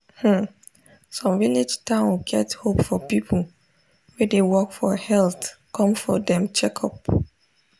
hmm some village town get hope for people wey dey work for health come for dem checkup.